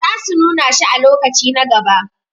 sa su nuna shi a lokaci na gaba